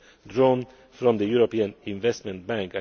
be drawn from the European Investment